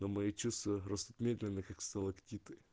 но мои чувства растут медленно как сталактиты